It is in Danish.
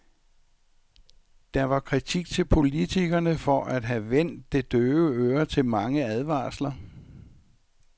Der var kritik til politikerne for at have vendt det døve øre til mange advarsler.